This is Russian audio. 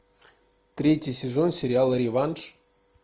третий сезон сериала реванш